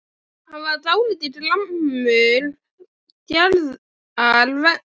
Hann var dálítið gramur Gerðar vegna.